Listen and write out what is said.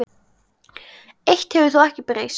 Eitt hefur þó ekki breyst.